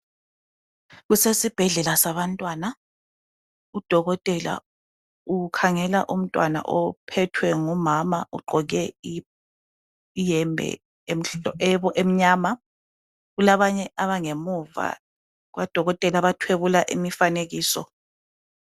Kusesibhedlela sabantwana udokotela ukhangela umntwana ophethwe ngumama ugqoke iyembe emnyama kulabanye abangemuva kukadokotela abathwebula imifanekiso.